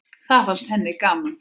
Það fannst henni gaman.